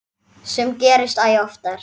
Sem gerist æ oftar.